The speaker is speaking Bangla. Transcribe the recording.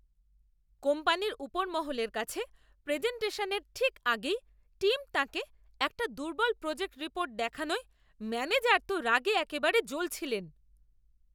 কোম্পানির উপরমহলের কাছে প্রেজেন্টেশনের ঠিক আগেই টিম তাঁকে একটা দুর্বল প্রজেক্ট রিপোর্ট দেখানোয় ম্যানেজার তো রাগে একেবারে জ্বলছিলেন।